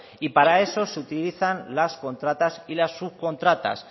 y para eso se utilizan las contratas y las subcontratas